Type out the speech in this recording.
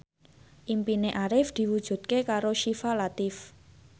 impine Arif diwujudke karo Syifa Latief